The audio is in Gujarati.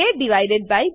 aબી